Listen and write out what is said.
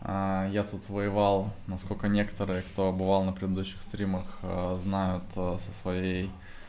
а я тут воевал насколько некоторые кто бывал на предыдущих стримах знают со своей